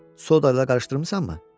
Sodala qarışdırmısanmı?